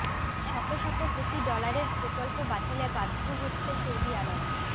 শত শত কোটি ডলারের প্রকল্প বাতিলে বাধ্য হচ্ছে সৌদি আরব